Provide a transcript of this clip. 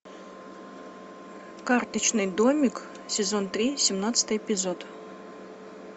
карточный домик сезон три семнадцатый эпизод